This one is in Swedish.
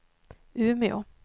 Umeå